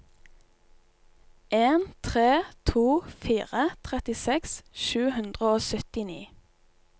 en tre to fire trettiseks sju hundre og syttini